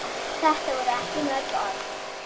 Þetta voru ekki mörg orð.